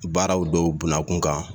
Baaraw dɔw buna kun kan